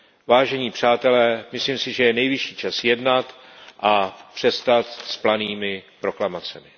Vážení přátelé, myslím si, že je nejvyšší čas jednat a přestat s planými proklamacemi.